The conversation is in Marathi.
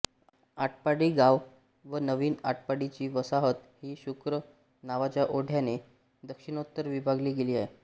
आटपाडी गाव व नवीन आटपाडीची वसाहत ही शुक्र नावाच्या ओढ्याने दक्षिणोत्तर विभागली गेली आहे